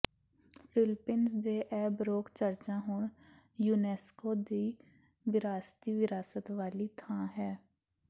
Philippines ਦੇ ਇਹ baroque ਚਰਚਾਂ ਹੁਣ ਯੂਨੇਸਕੋ ਦੀ ਵਿਰਾਸਤੀ ਵਿਰਾਸਤ ਵਾਲੀ ਥਾਂ ਹੈ